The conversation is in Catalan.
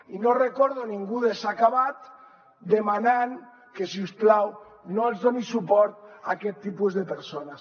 i no recordo ningú de s’ha acabat demanant que si us plau no es doni suport a aquest tipus de persones